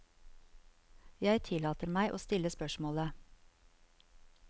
Jeg tillater meg å stille spørsmålet.